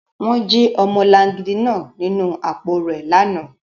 Wọn ji ọmọlangidi naa ninu apo rẹ lana